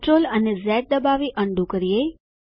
CTRL અને Z દબાવી તે અનડૂ કરીએ